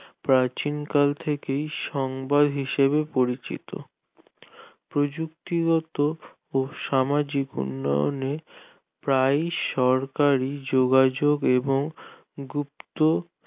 প্রাচীনকাল থেকেই সংবাদ হিসেবে পরিচিত প্রযুক্তিগত ও সামাজিক উন্নয়নে প্রায় সরকারি যোগাযোগ এবং গুপ্ত